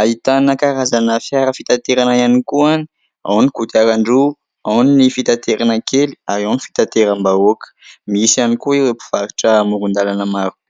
Ahitana karazana fiara fitaterana ihany koa any : ao ny kodiarandroa, ao ny fitaterana kely ary ao ny fitaterambahoaka. Misy ihany koa ireo mpivarotra amorondalana marobe.